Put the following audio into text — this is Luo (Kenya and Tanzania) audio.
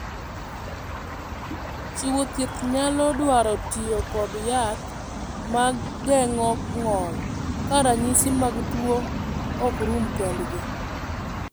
Chiwo thieth nyalo dwaro tiyo kod yath ma geng’o ng’ol ka ranyisi mag tuo ok rum kendgi.